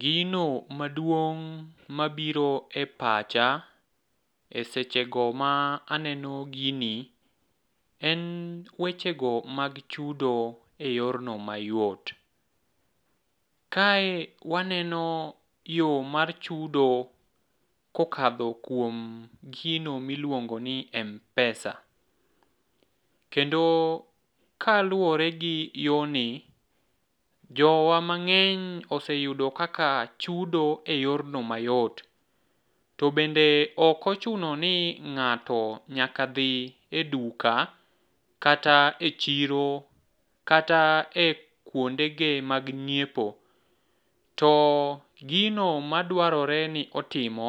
Gino maduong' mabiro e pacha e sechego ma aneno gini en wechego mag chudo e yorno mayot. Kae waneno yo mar chudo kokadho kuom gino miluongoni m-pesa, kendo kaluwore gi yoni, jowa mang'eny oseyudo kaka chudo e yorno mayot, to bende ok ochuno ni ng'ato nyaka dhi e duka kata e chiro kata e kwondege mag nyiepo, to gino madwarore ni otimo,